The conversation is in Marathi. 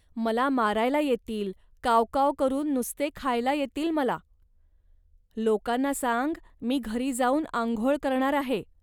मला मारायला येतील, काव काव करून नुसते खायला येतील मला. लोकांना सांग 'मी घरी जाऊन आंघोळ करणार आहे